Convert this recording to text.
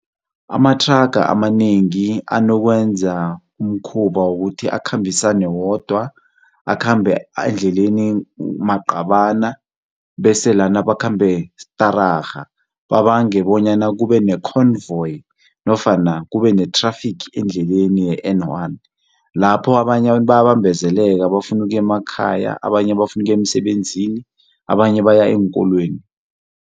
Amathranga amanengi anokwenza umkhuba wokuthi akhambisane wodwa, akhambe endleleni maqabana bese lana bakhambe stararha. Babange bonyana kube nekhonvoyi nofana kube nethrafigi endleleni ye-N one lapho abanye abantu bayabambezeleka bafuna ukuya emakhaya, abanye bafuna ukuya emisebenzini, abanye baya eenkolweni.